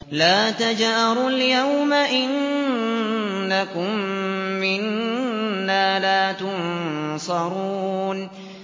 لَا تَجْأَرُوا الْيَوْمَ ۖ إِنَّكُم مِّنَّا لَا تُنصَرُونَ